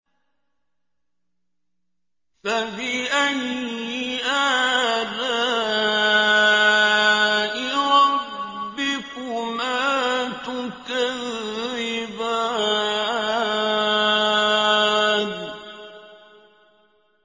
فَبِأَيِّ آلَاءِ رَبِّكُمَا تُكَذِّبَانِ